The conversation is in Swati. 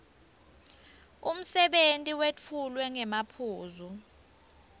umsebenti wetfulwe ngemaphuzu